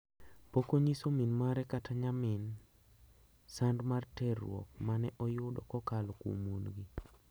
Pok onyiso min mare kata nyamin sand mar terruok ma ne oyudo kokalo kuom wuongi.